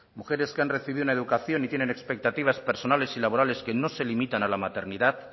mujeres que han recibido una educación y tienen expectativas personales y laborales que no se limitan a la maternidad